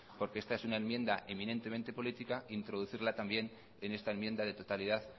porque esta es una enmienda eminentemente política introducirla también en esta enmienda de totalidad